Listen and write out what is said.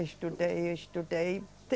Estudei, estudei.